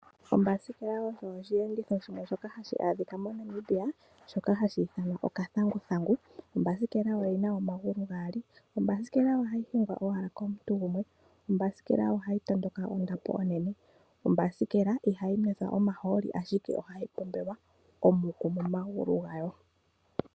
Ombasikela osho oshiyenditho shwe shoka hashi adhika moNamibia hashi ithanwa okathanguthangu. Ombasikela oyina omagulu gaali, ombasikela ohayi hingwa owala komuntu gumwe, ombasikela ohayi tondoka ondapo onene, ombasikela ohayi nwithwa omahooli ashike ohayi pombelwa omukuli momaguli gawo.